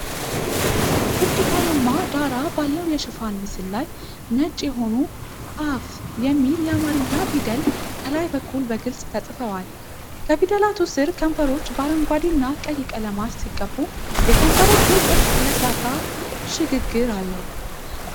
ብርቱካናማ ዳራ ባለው የሽፋን ምስል ላይ፣ ነጭ የሆኑ “አፉ” የሚል የአማርኛ ፊደል ከላይ በኩል በግልጽ ተጽፈዋል። ከፊደላቱ ስር ከንፈሮች በአረንጓዴ እና ቀይ ቀለማት ሲቀቡ፤ የከንፈሮቹ ቅርፅ ለስላሳ ሽግግር አለው።